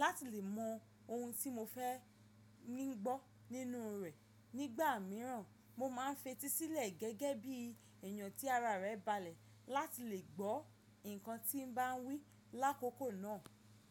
lati le mọ ohun ti mo fẹ ni gbọ ninu rẹ. Nigba miiran mo ma n fetí silẹ gẹgẹ bi eyan ti ara rẹ balẹ lati le gbọ nkan ti n ba n wi lakoko naa.